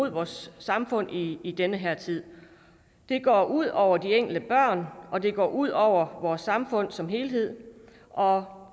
i vores samfund i i den her tid det går ud over de enkelte børn og det går ud over vores samfund som helhed og